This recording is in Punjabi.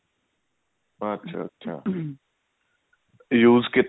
ਅੱਛਾ ਅੱਛਾ use